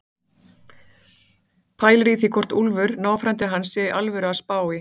Pælir í því hvort Úlfur, náfrændi hans, sé í alvöru að spá í